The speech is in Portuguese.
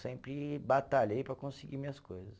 Sempre batalhei para conseguir minhas coisas.